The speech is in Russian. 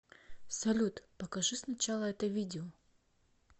салют покажи сначала это видео